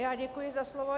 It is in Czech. Já děkuji za slovo.